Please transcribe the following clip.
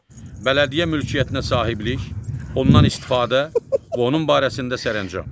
Bələdiyyə mülkiyyətinə sahiblik, ondan istifadə və onun barəsində sərəncam.